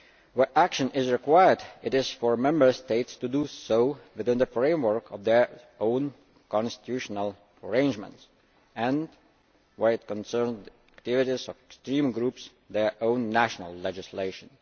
Where action is required, it is for Member States to do so within the framework of their own constitutional arrangements and, where it concerns the activities of extreme groups, their own national legislation.